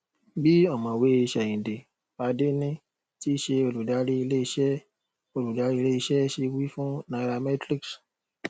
bí ọmọwé seinde fadeni tí ṣe olùdarí ilé iṣẹ olùdarí ilé iṣẹ ṣe wí fún nairametrics